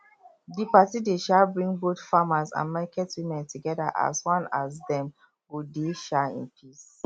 di party dey um bring both farmers and market women together as one as dem go dey um in peace